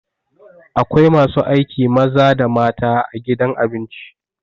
Akwai masu aiki maza da mata a gidan abinci.